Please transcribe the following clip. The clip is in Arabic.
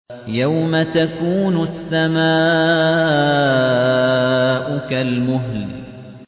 يَوْمَ تَكُونُ السَّمَاءُ كَالْمُهْلِ